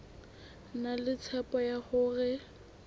na le tshepo ya hore